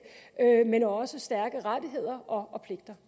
men også stærke rettigheder og